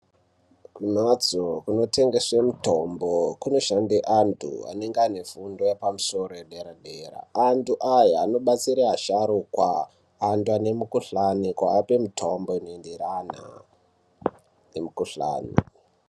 Kumhatso inotengese mitombo kunoshande antu anonga aine fundo yepamusoro yedera dera antu aya anobatsire asharuka antu ane mikuhlani kuape mitombo inoenderana nemikuhlani.